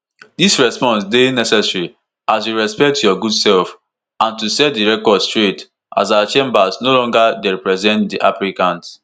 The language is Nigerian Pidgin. "dis response dey necessary as we respect your good sef and to set di record straight as our chambers no longer dey represent di applicant."